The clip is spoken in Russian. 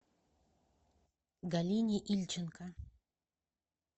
галине ильченко